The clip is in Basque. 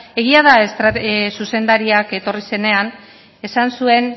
egia da zuzendariak etorri zenean esan zuen